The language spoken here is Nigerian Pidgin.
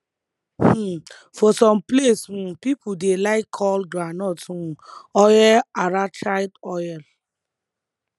um for some place um people dey like call groundnut um oil arachide oil